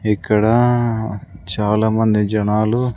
ఇక్కడ చాలా మంది జనాలు--